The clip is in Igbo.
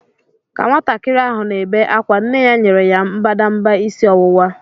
Ka nwatakịrị ahụ na-ebe ákwá, nne ya nyere ya mbadamba isi ọwụwa.